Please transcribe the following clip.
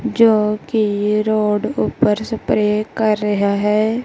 ਜੋ ਕੀ ਰੋਡ ਉਪਰ ਸਪਰੇ ਕਰ ਰਿਹਾ ਹੈ।